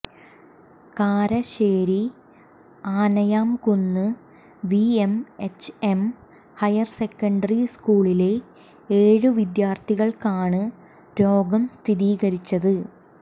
Karassery Anayamkunnu VMHM higher secondary സ്കൂളിലെ ഏഴ് വിദ്യാര്ഥികള്ക്കാണ് രോഗം സ്ഥിരീകരിച്ചത്